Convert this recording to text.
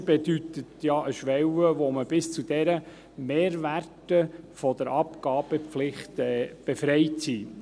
: Eine Freigrenze bedeutet ja eine Schwelle, bis zu der Mehrwerte von der Abgabepflicht befreit sind.